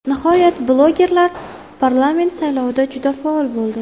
Nihoyat, blogerlar parlament saylovida juda faol bo‘ldi.